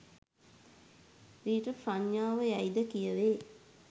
ඊට ප්‍රඥාව යැයි ද කියැවේ.